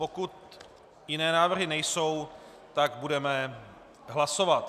Pokud jiné návrhy nejsou, tak budeme hlasovat.